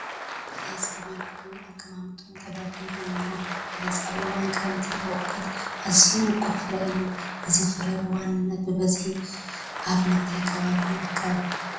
በለስ ብምልኩዕ ኣቀማምጣ ተደርዲሩ እኒሀ፡፡ በለስ ኣብ እዋን ክረምቲ ዝበቑል ኣዝዩ ምቑር ፍረ እዩ፡፡ እዚ ፍረ ብዋናነት ብበዝሒ ኣብ ምንታይ ከባቢ ይርከብ?